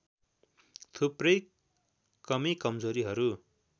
थुप्रै कमी कमजोरीहरु